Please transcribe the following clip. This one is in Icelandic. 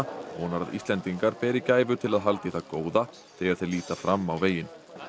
vonar að Íslendingar beri gæfu til að halda í það góða þegar þeir líta fram á veginn